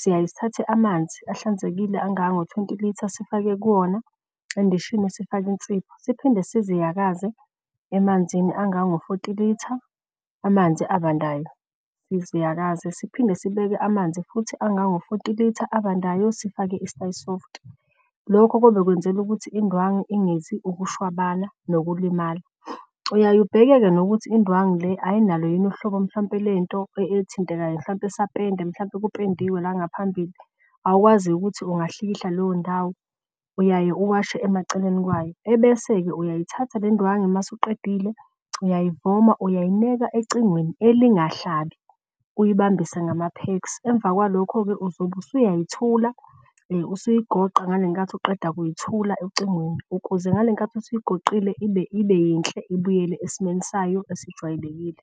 Siyaye sithathe amanzi ahlanzekile angango twenty litre sifake kuwona endishini sifake insipho. Siphinde siziyakaze emanzini angango forty litre amanzi abandayo siziyakaze. Siphinde sibeke amanzi futhi angango forty litre abandayo sifake i-stay soft. Lokho kube kwenzelwa ukuthi indwangu ingezi ukushwabana nokulimala. Uyaye ubheke-ke nokuthi indwangu le ayinalo yini uhlobo mhlawumpe lento ethintekayo mhlawumpe ethintekayo, mhlampe esapende. Mhlampe kupendiwe la ngaphambili awukwazi-ke ukuthi ungahlikihla leyo ndawo, uyaye uwashe emaceleni kwayo. Ebese-ke uyayithatha le ndwangu masuqedile uyayivoma, uyayineka ecingweni elingahlabi uyibambise ngama-peks. Emva kwalokho-ke uzobe usuyayithula usuyigoqa ngale nkathi, uqeda kuyathula ocingweni ukuze ngale nkathi usigoqile ibe yinhle, ibuyele esimweni sayo esijwayelekile.